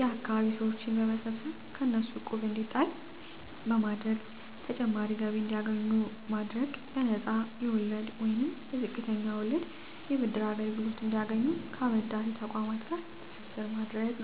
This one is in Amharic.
የአካባቢ ሰወችን በመሰብሰብ ከእነሱ እቁብ እንዲጣል በማድረግ ተጨማሪ ገቢ እንዲያገኙ ማድረግ በነፃ የወለድ ወይንም በዝቅተኛ ወለድ የብድር አገልግሎት እንዲያገኙ ከአበዳሪ ተቆማት ጋር ትስስር ማድረግ